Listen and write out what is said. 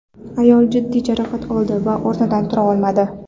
Ayol jiddiy jarohat oldi va o‘rnidan tura olmadi.